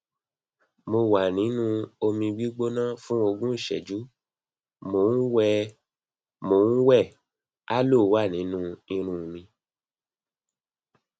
mo wà nínú omi gbígbóná fún ogún ìṣẹjú mo ń wẹ aloe wà nínú irun mi